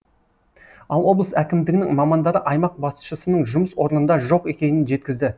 ал облыс әкімдігінің мамандары аймақ басшысының жұмыс орнында жоқ екенін жеткізді